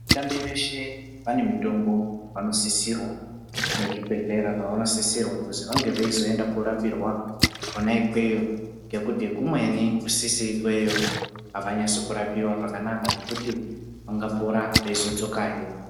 Vatambe veshe vane mitombo yavano sisirwa ne zvibhedhlera zvavano sisira kuzi vange veizo enda korapiwa kona ikweyo ngekuti kumweni kusisiri ikweyo avanyasi kurapiwa zvakanaka zvekuti ungapora weizo dzokahe .